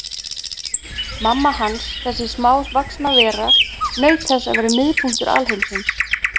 Mamma hans, þessi smávaxna vera, naut þess að vera miðpunktur alheimsins.